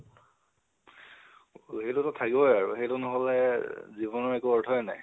সেইতোটো থাকিবই আৰু, সেইটো নহলে জীৱনৰ একো অৰ্থই নাই।